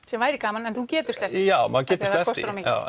sem væri gaman en þú getur sleppt því já maður getur sleppt því